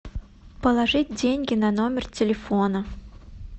положить деньги на номер телефона